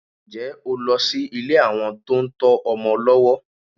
Ǹjẹ́ ẹ lọ sí ilé àwọn tó ń tọ́ ọmọ lọ́wọ́?